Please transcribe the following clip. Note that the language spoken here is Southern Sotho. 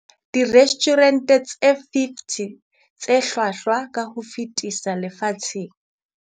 Direstjhurente tse 50 tse hlwahlwa ka ho fetisisa lefatsheng.